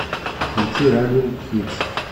включи раннинг хитс